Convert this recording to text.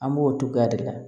An b'o togoya de la